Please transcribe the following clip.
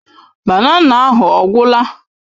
Banana ahụ ọ gwụla?